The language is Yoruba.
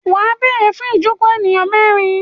Wà á béèrè fún ìjokòó ènìyàn mẹ́rin.